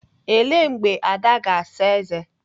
Ele mgbe Ada ga-asa ézé?